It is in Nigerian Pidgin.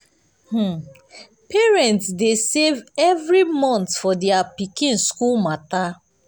um parents dey save every month for their pikin school matter.